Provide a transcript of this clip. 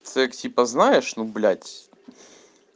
секс типа знаешь ну блять